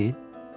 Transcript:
Belə deyil?